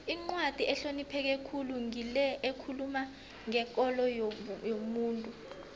incwadi ehlonipheke khulu ngile ekhuluma ngekolo yomuntu